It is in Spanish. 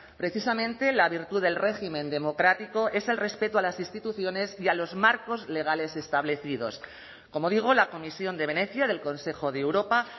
precisamente la virtud del régimen democrático es el respeto a las instituciones y a los marcos legales establecidos como digo la comisión de venecia del consejo de europa